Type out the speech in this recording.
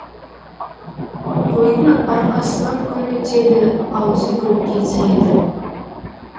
қойдың арқасынан күн өтеді аузы көкке тиеді